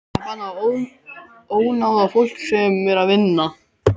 Það er bannað að ónáða fólk sem er að vinna.